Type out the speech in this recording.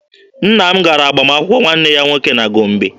Nne m gara agbamakwụkwọ nwanne ya nwoke na Gombe.